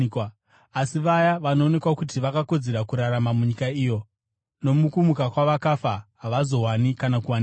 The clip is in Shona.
Asi vaya vanoonekwa kuti vakakodzera kurarama munyika iyo nomukumuka kwavakafa, havazowani kana kuwanikwa,